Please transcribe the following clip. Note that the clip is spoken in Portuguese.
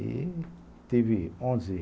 E teve onze